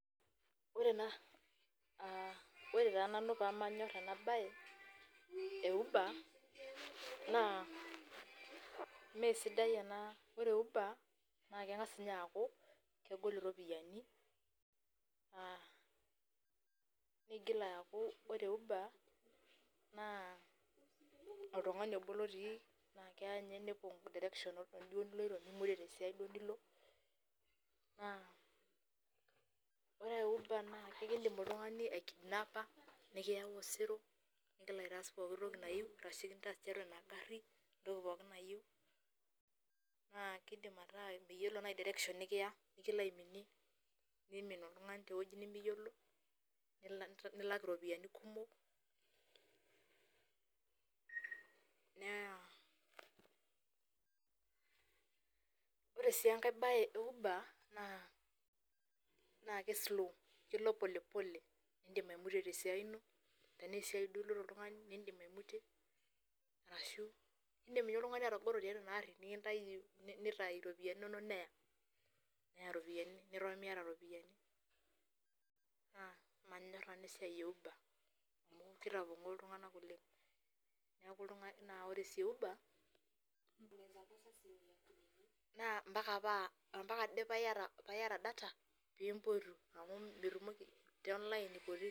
Ore ena, ah ore taa nanu pamanyor enabae, e uber, naa, mesidai ena ore oshi e uber, na keng'as inye aku kegol iropiyiani, naa nigil aku ore e uber, naa oltung'ani obo lotii, na kenye nepong' direction duo niloito nimutie tesiai duo nilo, naa ore e uber naa ekidim oltung'ani aikidnapa, nikiyau osero, nelo aitaas pooki toki nayu, ashu kintaas tiatua ina garri, entoki pooki nayieu, naa kidim ataa meyiolo nai direction nikiya, nikilo aiminie, nimin oltung'ani tewoi nimiyiolo, nilak iropiyiani kumok, naa ore si enkae bae e uber, naa ke slow, kelo polepole. Nifim aimutie tesiai ino, tenaa esiai duo iloito oltung'ani nidim aimutie, arashu idim inye oltung'ani atagoro tiatua inaarri nikintayu nitayu ropiyiani inonok neya. Neya ropiyiani niton miata ropiyiani. Naa manyor nanu esiai e uber. Amu kitapong'oo iltung'anak oleng. Neku oltung'ani na ore si e uber, naa mpaka paa, ampaka ade paiyata data, pimpotu. Amu mitumoki te online ipoti.